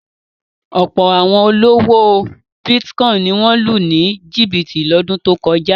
Ọ̀pọ̀ àwọn olówò bítíkọ́ìn ni wọ́n lù ní jìbìtì lọ́dún tó kọjá.